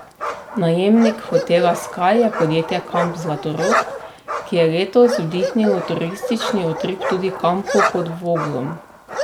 Najemnik hotela Ski je podjetje Kamp Zlatorog, ki je letos vdihnilo turistični utrip tudi kampu pod Voglom.